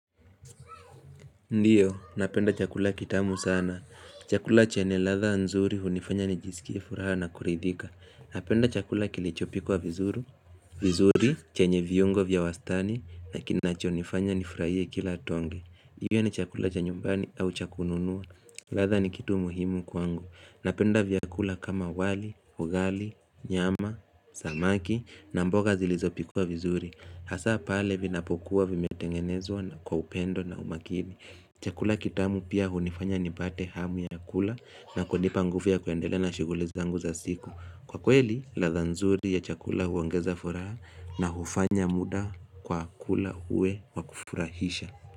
Ndiyo, napenda chakula kitamu sana Chakula chenye ladha nzuri hunifanya nijisikie furaha na kuridhika. Napenda chakula kilichopikwa vizuri chenye viungo vya wastani Nakinachonifanya nifurahie kila tonge hiyo ni chakula cha nyumbani au cha kununua ladha ni kitu muhimu kwangu Napenda vyakula kama wali, ugali, nyama, samaki na mboga zilizopikuwa vizuri Hasa pale vinapokuwa vimetengenezwa na kwa upendo na umakini. Chakula kitamu pia hunifanya nipate hamu ya kula na kunipa nguvu ya kuendelea na shughuli zangu za siku. Kwa kweli, lafha nzuri ya chakula huongeza furaha na hufanya muda kwa kula uwe wakufurahisha.